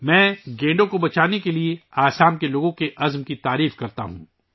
میں گینڈوں کے تحفظ کے لئے آسام کے عوام کے عہد کی ستائش کرتا ہوں